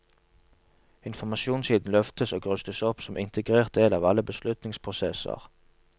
Informasjonssiden løftes og rustes opp som integrert del av alle beslutningsprosesser.